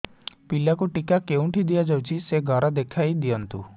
ପିଲାକୁ ଟିକା କେଉଁଠି ଦିଆଯାଉଛି ସେ ଘର ଦେଖାଇ ଦିଅନ୍ତୁ